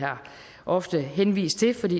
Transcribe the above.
ofte har henvist til for det